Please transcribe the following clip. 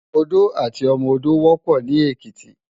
Odó àti ọmọ odó wòpò ni Ekiti